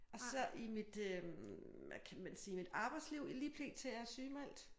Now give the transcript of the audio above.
Og så i mit øh hvad kan man sige mit arbejdsliv lige pt er jeg sygemeldt